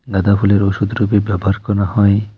গাঁদা ফুলের ওষুধ রুপে ব্যবহার করা হয়।